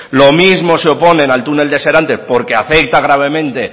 lo mismo se oponen al túnel de serantes porque afecta gravemente